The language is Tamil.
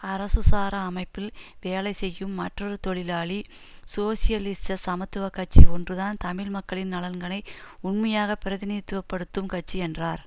அரசு சாரா அமைப்பில் வேலை செய்யும் மற்றொரு தொழிலாளி சோசியலிச சமத்துவ கட்சி ஒன்றுதான் தமிழ் மக்களின் நலன்களை உண்மையாகப் பிரதிநிதித்துவ படுத்தும் கட்சி என்றார்